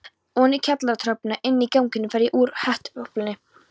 Oní kjallaratröppurnar, Inní ganginum fer ég úr hettuúlpunni.